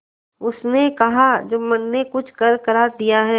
उसने कहाजुम्मन ने कुछ करकरा दिया है